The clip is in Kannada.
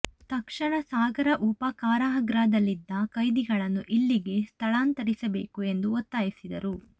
ತಕ್ಷಣ ಸಾಗರ ಉಪ ಕಾರಾಗೃಹದಲ್ಲಿದ್ದ ಕೈದಿಗಳನ್ನು ಇಲ್ಲಿಗೆ ಸ್ಥಳಾಂತರಿಸಬೇಕು ಎಂದು ಒತ್ತಾಯಿಸಿದರು